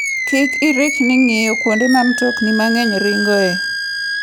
Kik irikni ng'iyo kuonde ma mtokni mang'eny ringoe.